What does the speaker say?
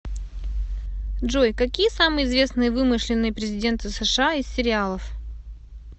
джой какие самые известные вымышленные президенты сша из сериалов